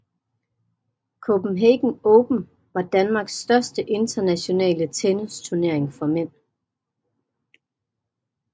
Copenhagen Open var Danmarks største internationale tennisturnering for mænd